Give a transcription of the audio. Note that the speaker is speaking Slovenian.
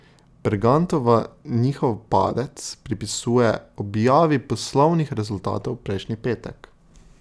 Bergantova njihov padec pripisuje objavi poslovnih rezultatov prejšnji petek.